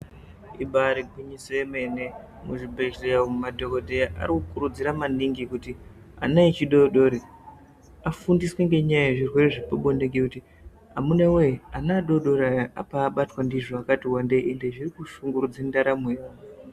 Ibari gwinyiso yemene muzvibhehleya umu madhokodheya arikukurudzira maningi kuti ana echidodori afundiswe ngenyaya yezvirwere zvepabonde ngekuti amunawe ana echidodori abatwa ndizvo akati wandei ended zvirikushungurudza ndaramo yawo.